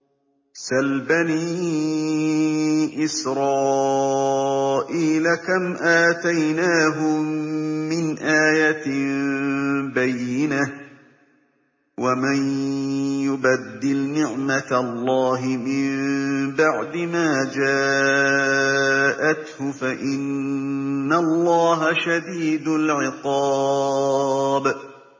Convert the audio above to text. سَلْ بَنِي إِسْرَائِيلَ كَمْ آتَيْنَاهُم مِّنْ آيَةٍ بَيِّنَةٍ ۗ وَمَن يُبَدِّلْ نِعْمَةَ اللَّهِ مِن بَعْدِ مَا جَاءَتْهُ فَإِنَّ اللَّهَ شَدِيدُ الْعِقَابِ